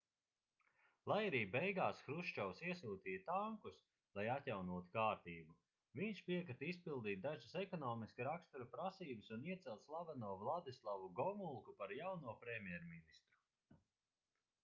lai arī beigās hruščovs iesūtīja tankus lai atjaunotu kārtību viņš piekrita izpildīt dažas ekonomiska rakstura prasības un iecelt slaveno vladislavu gomulku par jauno premjerministru